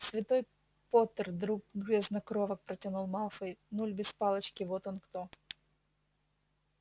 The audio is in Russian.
святой поттер друг грязнокровок протянул малфой нуль без палочки вот он кто